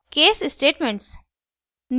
case statements